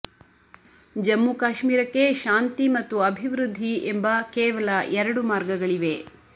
ಜಮ್ಮು ಕಾಶ್ಮೀರಕ್ಕೆ ಶಾಂತಿ ಮತ್ತು ಅಭಿವೃದ್ಧಿ ಎಂಬ ಕೇವಲ ಎರಡು ಮಾರ್ಗಗಳಿವೆ